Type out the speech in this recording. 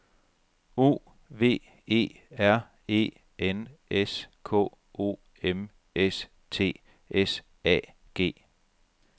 O V E R E N S K O M S T S A G